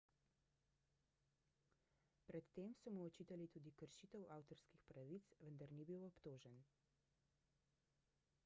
pred tem so mu očitali tudi kršitev avtorskih pravic vendar ni bil obtožen